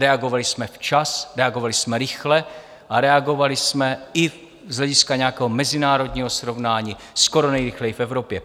Reagovali jsme včas, reagovali jsme rychle a reagovali jsme i z hlediska nějakého mezinárodního srovnání skoro nejrychleji v Evropě.